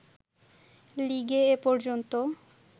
লিগে এ পর্যন্ত